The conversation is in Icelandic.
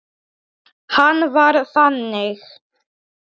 Hann var þannig.